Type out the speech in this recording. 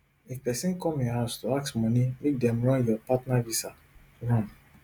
if pesin come your house to ask money make dem run your partner visa run